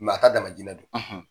a ka don